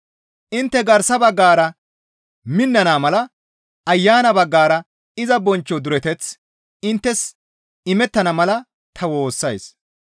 Intte garsa baggara minnana mala Ayana baggara iza bonchcho dureteththi inttes imettana mala ta woossays.